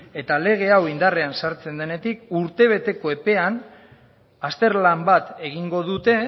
eta lege hau indarrean sartzen denetik urtebeteko epean azterlan bat egingo dute